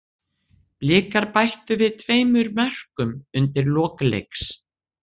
Blikar bættu við tveimur mörkum undir lok leiks.